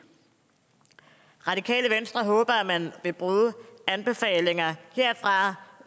radikale venstre håber at man vil bruge anbefalingerne herfra